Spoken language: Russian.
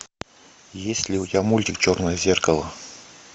есть ли у тебя мультик черное зеркало